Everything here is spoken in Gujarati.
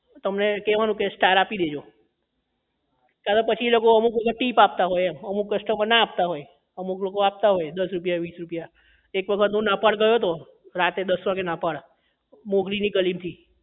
તો તેમને કહેવાનું કે star આપી દેજો ક્યારેક અમુક લોકો એ પછી tip આપતા હોય એમ અમુક customer ના આપતા હોય અમુક લોકો આપતા હોય દસ રૂપિયા વીસ રૂપિયા એક વખત હું નહપાળ ગયો તો રાત્રે દસ વાગે નહપાળ મોગરી ની ગલી થી